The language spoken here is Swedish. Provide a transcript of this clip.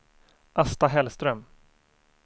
Asta Hellström